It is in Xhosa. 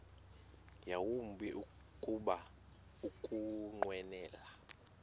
yawumbi kuba ukunqwenela